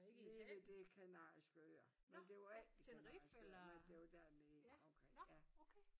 Nede ved de kanariske øer men det var ikke de kanariske øer nej det var dernede omkring ja